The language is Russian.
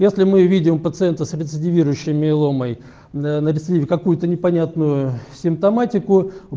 если мы и видим пациента с рецидивирующим миеломой на рецидиве какую-то непонятную симптоматику